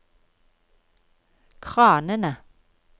kranene